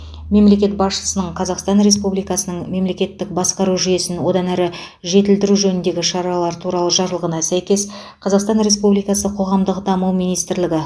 мемлекет басшысының қазақстан республикасының мемлекеттік басқару жүйесін одан әрі жетілдіру жөніндегі шаралар туралы жарлығына сәйкес қазақстан республикасы қоғамдық даму министрлігі